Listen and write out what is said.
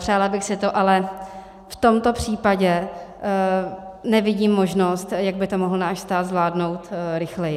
Přála bych si to, ale v tomto případě nevidím možnost, jak by to mohl náš stát zvládnout rychleji.